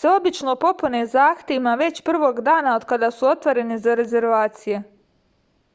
se obično popune zahtevima već prvog dana od kada su otvoreni za rezervacije